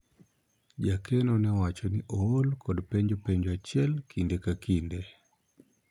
jakeno ne owacho ni ool kod penjo penjo achiel kinde ka kinde